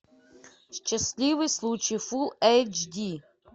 счастливый случай фулл эйч ди